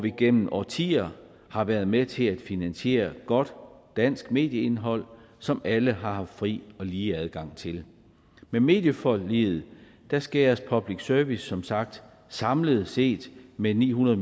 igennem årtier har været med til at finansiere godt dansk medieindhold som alle har haft fri og lige adgang til med medieforliget skæres public service som sagt samlet set med ni hundrede